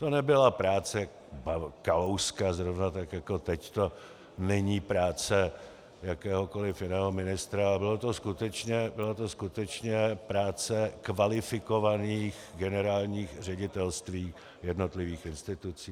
To nebyla práce Kalouska, zrovna tak jako teď to není práce jakéhokoliv jiného ministra, ale byla to skutečně práce kvalifikovaných generálních ředitelství jednotlivých institucí.